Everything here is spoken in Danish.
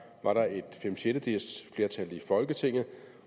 var der et femsjettedeles flertal i folketinget